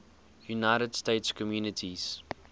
united states communities